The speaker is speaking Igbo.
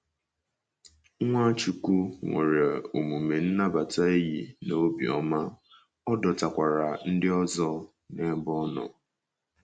Nwachukwu nwere omume nnabata enyi na obiọma, ọ dọtakwara ndị ọzọ n’ebe ọ nọ.